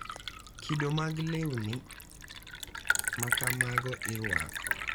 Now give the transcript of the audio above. Kido mag lewni ma kamago irwako,